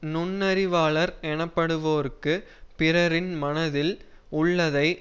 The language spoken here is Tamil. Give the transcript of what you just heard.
நுண்ணறிவாளர் எனப்படுவோர்க்கு பிறரின் மனத்தில் உள்ளதை